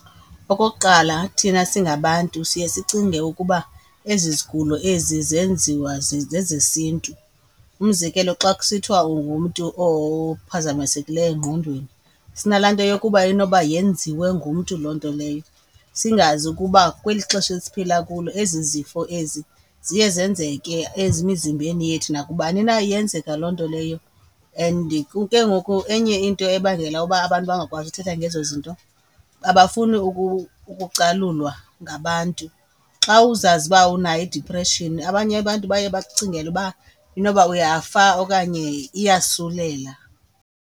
Okokuqala, thina singabantu siye sicinge ukuba ezi zigulo ezi zenziwa, zezesiNtu. Umzekelo, xa kusithiwa ungumntu ophazamisekileyo engqondweni sinala nto yokuba inoba yenziwe ngumntu loo nto leyo. Singazi ukuba kweli ixesha esiphila kulo ezi zifo ezi ziye zenzeke emizimbeni yethu nakubani na iyenzeka loo nto leyo and ke ngoku, enye into ebangela uba abantu bangakwazi uthetha ngezo zinto abafuni ukucalulwa ngabantu. Xa uzazi uba unayo idipreshini abanye abantu baye bakucingele uba inoba uyafa okanye iyasulela.